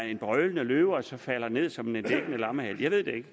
en brølende løve og så falder ned som en dikkende lammehale jeg ved det ikke